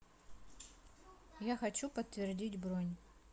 я хочу подтвердить бронь